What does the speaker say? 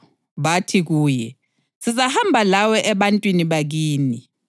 bathi kuye, “Sizahamba lawe ebantwini bakini.”